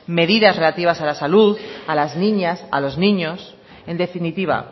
medidas relativas a la salud a las niñas a los niños en definitiva